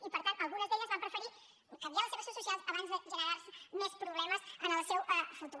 i per tant algunes d’elles van preferir canviar les seves seus socials abans de generar se més problemes en el seu futur